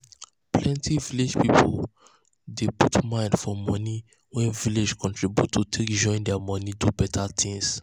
plenty village people dey dey put mind for money wey village contribute to take join their money do better things